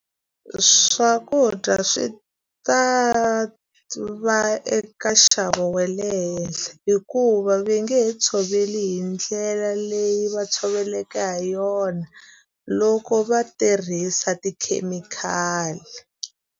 Swakudya swi ta va eka nxavo wa le henhla hikuva va nge he tshoveli hi ndlela leyi va tshoveleke ha yona, loko va tirhisa tikhemikhali.